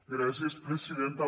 gràcies presidenta